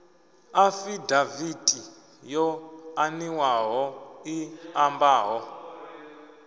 afidaviti yo aniwaho i ambaho